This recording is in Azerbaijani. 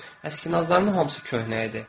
Əskinazların hamısı köhnə idi.